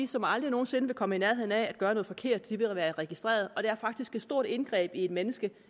som aldrig nogen sinde vil komme i nærheden af at gøre noget forkert vil være registreret og det er faktisk et stort indgreb for et menneske